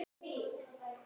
Þær eru það ekki.